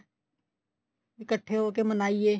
ਇਕੱਠੇ ਹੋ ਕੇ ਮਨਾਈਏ